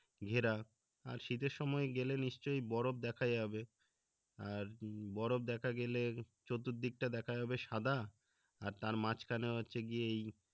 ঘেরা আর শীতের সময় গেলে নিশ্চয়ই বরফ দেখা যাবে আর বরফ দেখা গেলে চতুর্দিক টা দেখা যাবে সাদা আর তার মাঝখানে হচ্ছে গিয়ে এই